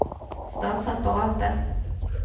statsapparatet